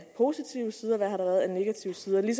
positive sider og hvad har der været af negative sider jeg